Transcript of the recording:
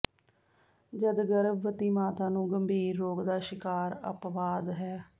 ਜਦ ਗਰਭਵਤੀ ਮਾਤਾ ਨੂੰ ਗੰਭੀਰ ਰੋਗ ਦਾ ਸ਼ਿਕਾਰ ਅਪਵਾਦ ਹੈ